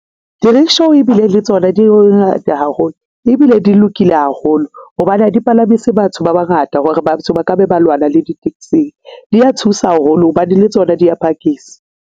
Di-rickshaw ebile le tsona di ngata haholo ebile di lokile haholo hobane ha di palamise batho ba bangata hore batho ba ka be ba lwana le di taxing dia thusa haholo hobane le tsona dia phakise.